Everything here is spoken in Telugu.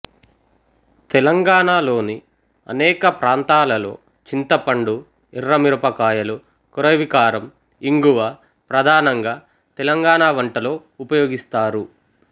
తెలంగాణలోని అనేక ప్రాంతాలలో చింతపండు ఎర్ర మిరపకాయలు కొరైవికారం ఇంగువ ప్రధానంగా తెలంగాణ వంటలో ఉపయోగిస్తారు